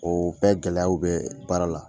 O bɛɛ gɛlɛyaw bɛ baara la